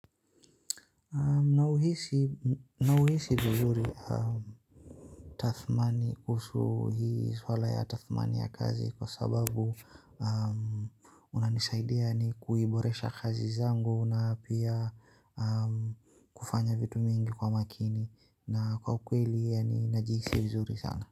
Nauhisi vizuri tathmani kuhusu hii swala ya tathmani ya kazi kwa sababu unanisaidia ni kuiboresha kazi zangu na pia kufanya vitu mingi kwa makini na kwa ukweli yaani najihisi vizuri sana.